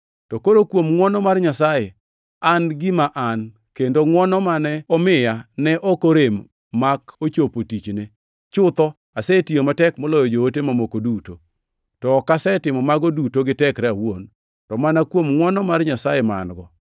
To koro, kuom ngʼwono mar Nyasaye, an gima an, kendo ngʼwono mane omiya ne ok orem mak ochopo tichne. Chutho, asetiyo matek moloyo joote mamoko duto, to ok asetimo mago duto gi tekra awuon, to mana kuom ngʼwono mar Nyasaye ma an-go.